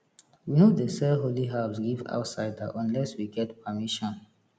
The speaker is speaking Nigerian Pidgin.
we no dey sell holy herbs give outsider unless we get permission